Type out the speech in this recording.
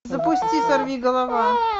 запусти сорви голова